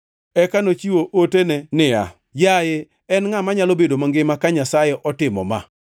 Eka nochiwo otene niya, “Yaye, en ngʼa manyalo bedo mangima ka Nyasaye otimo ma?